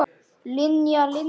Linja, Linja.